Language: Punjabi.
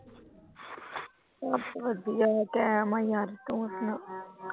ਬਸ ਵਧੀਆ ਕੈਮ ਆ ਯਾਰ ਤੂੰ ਸੁਣਾ।